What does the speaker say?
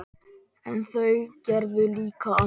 En þau gerðu líka annað.